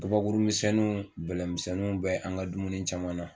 Kabakuru misɛnninw, bɛlɛmisɛnninw bɛ an ka dumuni caman na